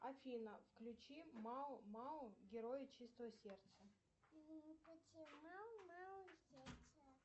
афина включи мау мау герои чистого сердца